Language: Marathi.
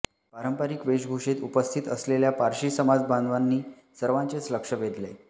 पारंपरिक वेषभूषेत उपस्थित असलेल्या पारशी समाज बांधवांनी सर्वांचेच लक्ष वेधले